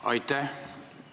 Aitäh!